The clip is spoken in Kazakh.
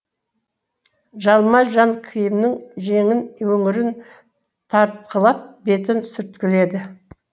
жалма жан киімнің жеңін өңірін тартқылап бетін сүрткіледі